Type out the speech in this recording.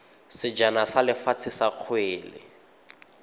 sejana sa lefatshe sa kgwele